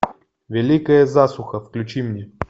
великая засуха включи мне